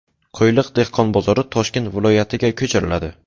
Qo‘yliq dehqon bozori Toshkent viloyatiga ko‘chiriladi.